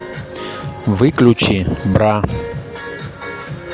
выключи бра